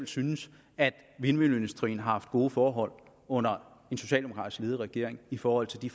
synes at vindmølleindustrien har haft gode forhold under en socialdemokratisk ledet regering i forhold til de